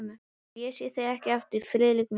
Ef ég sé þig ekki aftur, Friðrik minn.